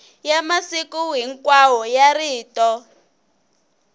ya masiku hinkwawo ya rito